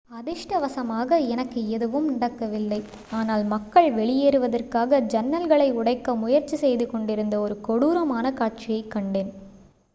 """அதிர்ஷ்டவசமாக எனக்கு எதுவும் நடக்கவில்லை ஆனால் மக்கள் வெளியேறுவதற்காக ஜன்னல்களை உடைக்க முயற்சி செய்துகொண்டிருந்த ஒரு கொடூரமான காட்சியைக் கண்டேன்.